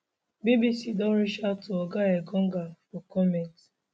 bbc don reach out to oga engonga for comment